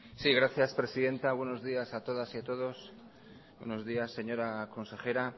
sí gracias presidenta buenos días a todas y a todos buenos días señora consejera